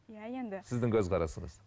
иә енді сіздің көзқарасыңыз